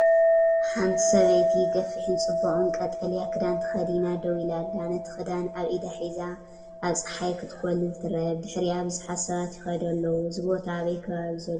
ሓንቲ ሰበይቲ ገፊሕን ጽቡቕን ቀጠልያ ክዳን ተኸዲና ደው ኢላ ኣላ። ነቲ ክዳን ኣብ ኢዳ ሒዛ፡ ኣብ ጸሓይ ክትኮልል ትርአ። ብድሕሪኣ ብዙሓት ሰባት ይኸዱ ኣለዉ። እዚ ቦታ ኣበይ ከባቢ ዘሎ ይመስለኩም?